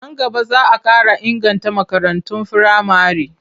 Nan gaba za a ƙara inganta makarantun firamare.